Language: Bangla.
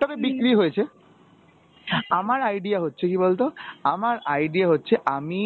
তবে বিক্রি হয়েছে. আমার idea হচ্ছে কি বলতো, আমার idea হচ্ছে আমি